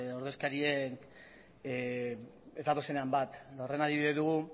ordezkariek ez datozenean bat horren adibide dugu